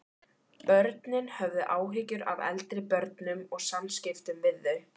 Börnin höfðu áhyggjur af eldri börnum og samskiptum við þau.